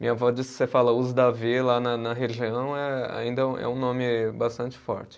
Minha avó diz que se você fala os Davi lá na na região é, ainda é um nome bastante forte.